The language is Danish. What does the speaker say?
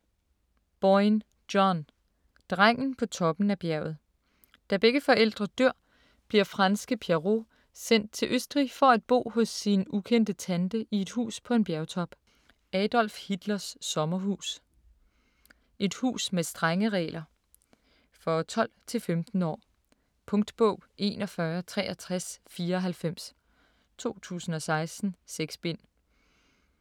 Boyne, John: Drengen på toppen af bjerget Da begge forældre dør bliver franske Pierrot sendt til Østrig for at bo hos sin ukendte tante i et hus på en bjergtop. Adolf Hitlers sommerhus. Et hus med strenge regler. For 12-15 år. Punktbog 416394 2016. 6 bind.